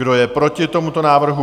Kdo je proti tomuto návrhu?